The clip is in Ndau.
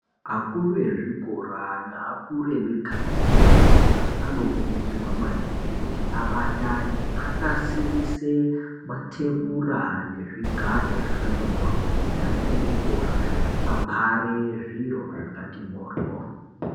Akuru ezvikora neakuru emikanga nentaraunda anokurudzirwa maningi kuti abatane anasirise mathebura nezvigaro zvakati moryo kuti ana echikora abhare zviro zvakati moryo.